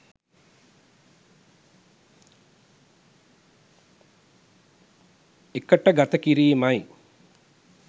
එකට ගත කිරීම යි.